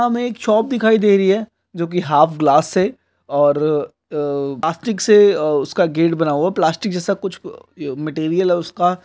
यहाँ हमे एक शॉप दिखाई दे रही है जो की हाफ ग्लास से और प्लास्टिक से उसका गेट बना हुआ है प्लास्टिक जैसा कुछ मटेरियल है उसका--